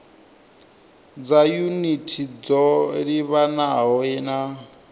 dza yunithi dzo livhanaho na